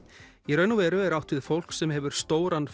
í raun og veru er átt við fólk sem hefur stóran